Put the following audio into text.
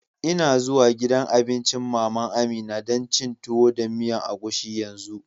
N'na zuwan gidan abincin mama'n Amina dan cin Tuwo da miyan agushi yanzu.